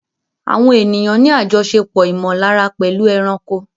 Àwọn ènìyàn ní àjọṣepọ̀ ìmọ̀lára pẹ̀lú ẹranko.